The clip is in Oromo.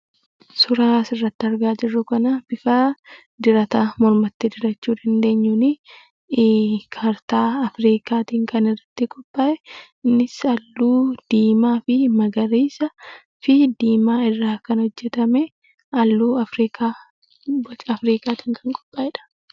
Suuraa asirratti argaa jirru kana bifa dirata mormatti dirachuu dandeenyuuni; kaartaa Afrikaatiin kan irratti qophaa'e; innis halluu diimaa fi magariisa fi diimaatiin kan qophaa'e, halluu Afrikaa, boca Afrikaatiin kan qophaa'edha.